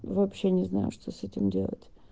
вообще не знаю что с этим делать